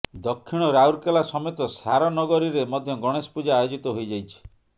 ଦକ୍ଷିଣ ରାଉରକେଲା ସମେତ ସାରନଗରୀରେ ମଧ୍ୟ ଗଣେଶ ପୂଜା ଆୟୋଜିତ ହୋଇଯାଇଛି